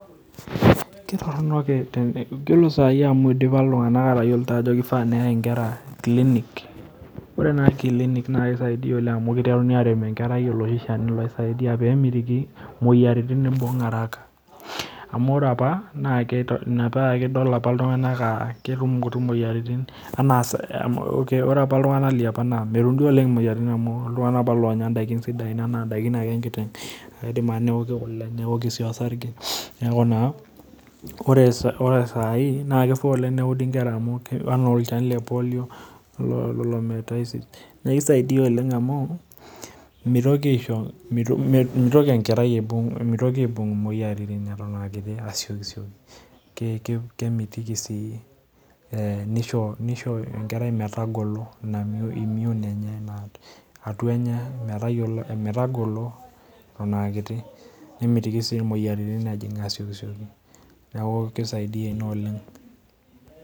Ore saai amuu indipa iltung'ana atayioloito ajo keifaa neyai nkera kilinik, ore naa kilinik naa kisaidia oleng amuu kiteruni aarem enkerai oloshi Shani ledukuya peemit imoyiaritin ibung araka amu ore apa ina piidol iltung'ana ibung imoyiaritin araka anaa ore apa miibung iltung'ana imoyiaritin amuu kenya ndaiki sidan enkiteng idim apa neoki kule neoki osarge neeku naa kifaa neudi nkera enaa olchani lepolio amuu meitoki aaibung moyiaritin eton aa kiti mitoki aaibung aasiokisioki kemitiki sii nisho enkerai metagolo, metagolo eton aakiti nemeitoki sii emoyian ejing asioki neeku keisaidia ina oleng.